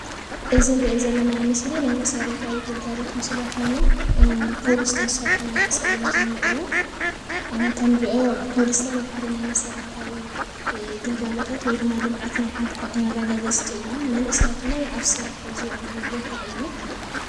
እዚ እንሪኦ ዘለና ምስሊ ናይ መስረታዊ ግልጋሎት ኮይኑ ኮብልስቶን መነናእሰይ እዮም ዝነኒኣውከ ዝሰርሕሉ ወይ ድማ ልማዓት ናይ ሓንቲ ዓዲ ዘርኢ ኮብልስተቶን ምስሊ ኮይኑ እዞም መናእሰይ እውን ኣብ ስራሕ ዝውዕሉሉ ቦታ እዩ፡፡